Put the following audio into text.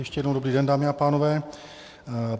Ještě jednou dobrý den, dámy a pánové.